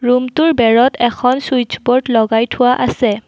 ৰূমটোৰ বেৰত এখন চুইচ বোৰ্ড লগাই থোৱা আছে।